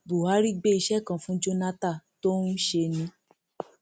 buhari gbé iṣẹ kan fún jonathan tó ń ṣe ni